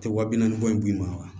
Tɛ wa bi naani ni bɔ in b'i ma wa